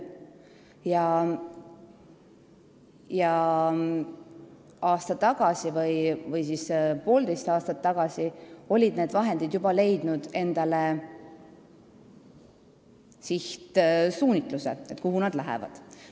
Aasta või poolteist aastat tagasi oli nendele vahenditele juba määratud sihtsuunitlus, kuhu need lähevad.